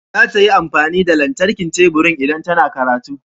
Za ta yi amfani da lantarkin teburin idan tana karatu.